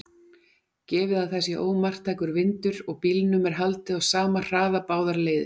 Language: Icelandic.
Gefið að það sé ómarktækur vindur og bílnum er haldið á sama hraða báðar leiðir.